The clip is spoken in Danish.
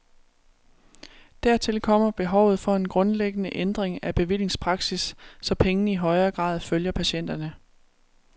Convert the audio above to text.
Dertil kommer behovet for en grundlæggende ændring af bevillingspraksis, så pengene i højere grad følger patienterne.